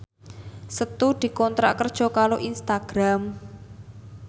Setu dikontrak kerja karo Instagram